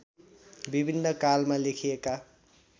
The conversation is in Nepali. विभिन्न कालमा लेखिएका